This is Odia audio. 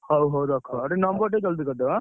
ହଉ, ହଉ, ରଖ। ଆଉ ଟିକେ number ଜଲଦି କରିଦବ ଏଁ?